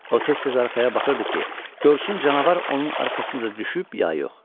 O tez-tez arxaya baxırdı ki, görsün canavar onun arxasınca düşüb, ya yox.